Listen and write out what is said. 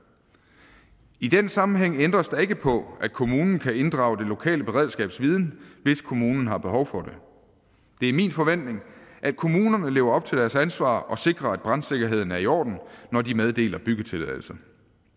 i den sammenhæng ændres der ikke på at kommunen kan inddrage det lokale beredskabs viden hvis kommunen har behov for det det er min forventning at kommunerne lever op til deres ansvar og sikrer at brandsikkerheden er i orden når de meddeler byggetilladelser